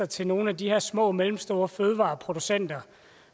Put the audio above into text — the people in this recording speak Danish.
til nogle af de her små og mellemstore fødevareproducenter